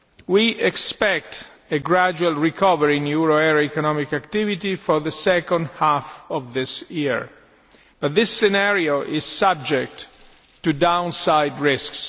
We expect a gradual recovery in euro area economic activity for the second half of this year but this scenario is subject to downside risks.